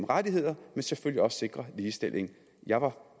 rettigheder og sikrer ligestilling jeg var